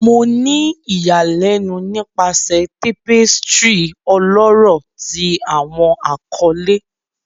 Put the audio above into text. Mo ni iyanilenu nipasẹ tapestry ọlọrọ ti Awọn akọle